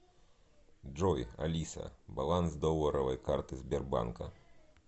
джой алиса баланс долларовой карты сбербанка